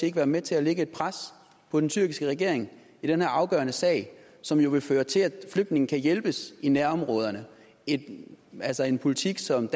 ikke være med til at lægge et pres på den tyrkiske regering i den her afgørende sag som jo vil føre til at flygtninge kan hjælpes i nærområderne altså en politik som